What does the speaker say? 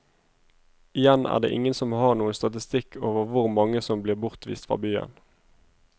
Igjen er det ingen som har noen statistikk over hvor mange som blir bortvist fra byen.